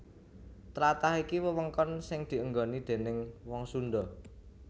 Tlatah iki wewengkon sing dienggoni déning wong Sundha